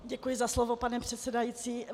Děkuji za slovo, pane předsedající.